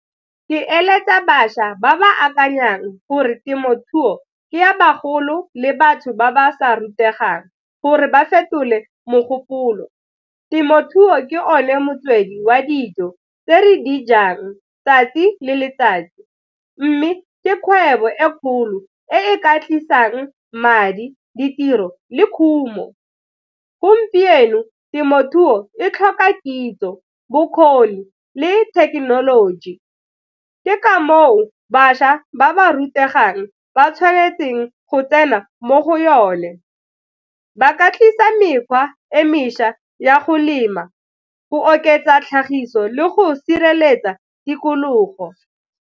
Ke eletsa bašwa ba ba akanyang gore temothuo ke ya bagolo le batho ba ba sa rutegang gore ba fetole mogopolo. Temothuo ke yone motswedi wa dijo tse re dijang tsatsi le letsatsi mme ke kgwebo e kgolo e e ka tlisang madi, ditiro, le khumo gompieno. Temothuo e tlhoka kitso, bokgoni, le thekenoloji ke ka moo bašwa ba ba rutegang ba tshwanetseng go tsena mo go yone, ba ka tlisa mekgwa e mešwa ya go lema go oketsa tlhagiso le go sireletsa tikologo.